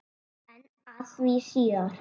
En að því síðar.